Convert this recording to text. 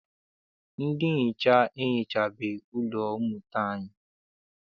Ndị nhicha ehichabeghị ụlọ mmụta anyi.